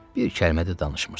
Bir kəlmə də danışmırsan.